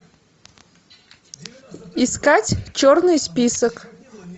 искать черный список